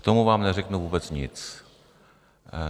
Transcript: K tomu vám neřeknu vůbec nic.